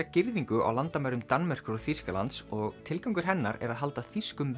girðingu á landamærum Danmerkur og Þýskalands og tilgangur hennar er að halda þýskum